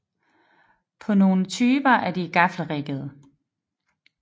På nogle typer er de gaffelriggede